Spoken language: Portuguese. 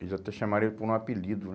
Eles até chamaram ele por um apelido, né?